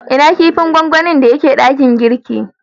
Ina kipin gwangwani da ya ke dakin girki?